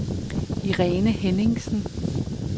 Irene Henningsen